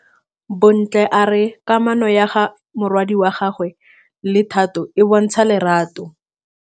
Bontle a re kamanô ya morwadi wa gagwe le Thato e bontsha lerato.